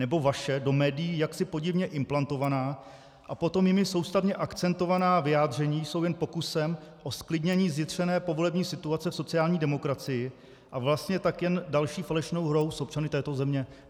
Nebo vaše do médií jaksi podivně implantovaná a potom jimi soustavně akcentovaná vyjádření jsou jen pokusem o zklidnění zjitřené povolební situace v sociální demokracii, a vlastně tak jen další falešnou hrou s občany této země?